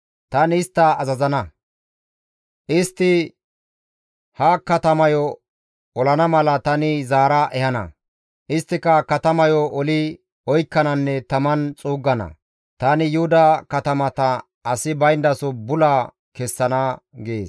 Tani istta azazana; istti ha katamayo olana mala tani zaara ehana; isttika katamayo oli oykkananne taman xuuggana; tani Yuhuda katamata asi bayndaso bula kessana» gees.